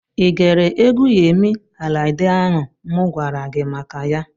Ị gere egwu Yemi Alade ahụ mụ gwara gị maka ya?